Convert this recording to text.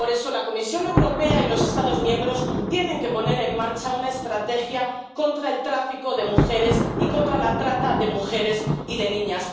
Por eso, la Comisión Europea y los Estados miembros tienen que poner en marcha una estrategia contra el tráfico de mujeres y contra la trata de mujeres y de niñas.